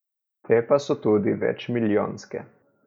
Te pa so tudi večmilijonske.